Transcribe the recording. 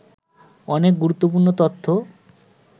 অনেক গুরুত্বপূর্ণ তথ্য